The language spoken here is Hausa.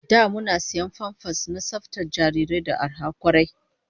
Da muna sayan famfas na tsaftar jarirai da arha kwarai